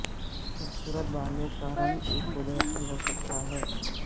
خوبصورت بالوں کا رنگ ایک قدرتی ہو سکتا ہے